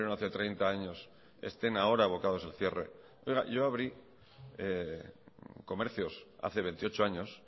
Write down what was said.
hace treinta años estén ahora abocados al cierre oiga yo abrí comercios hace veintiocho años